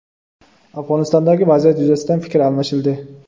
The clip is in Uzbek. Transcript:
Afg‘onistondagi vaziyat yuzasidan fikr almashildi.